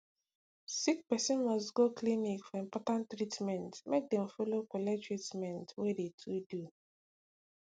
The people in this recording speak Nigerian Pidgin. sickperson must go clinic for important treatment make dem follow collect treatment wey de to do